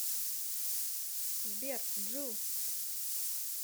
сбер джилл